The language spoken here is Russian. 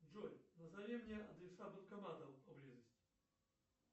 джой назови мне адреса банкоматов поблизости